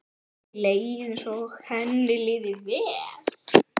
Mér leið eins og henni liði vel.